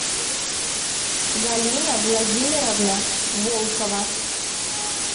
галина владимировна волкова